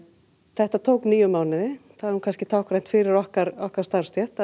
þetta tók níu mánuði það er kannski táknrænt fyrir okkar okkar starfstétt